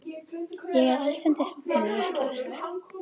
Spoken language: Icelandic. Ég er allsendis óvanur að slást.